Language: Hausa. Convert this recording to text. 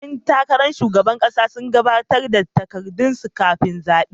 Yan takarar shugaban kasa sun gabatar da takardunsu kafin zabe.